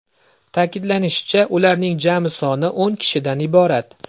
Ta’kidlanishicha, ularning jami soni o‘n kishidan iborat.